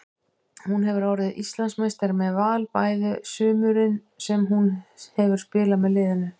Hún hefur orðið Íslandsmeistari með Val bæði sumurin sem hún hefur spilað með liðinu.